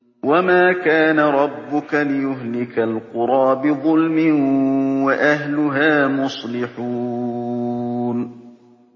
وَمَا كَانَ رَبُّكَ لِيُهْلِكَ الْقُرَىٰ بِظُلْمٍ وَأَهْلُهَا مُصْلِحُونَ